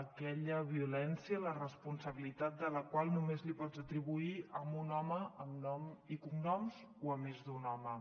aquella violència la responsabilitat de la qual només li pots atribuir a un home amb nom i cognoms o a més d’un home